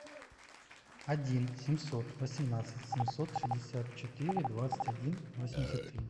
один семьсот восемнадцать семьсот шестьдесят четыре двадцать один восемьдесят три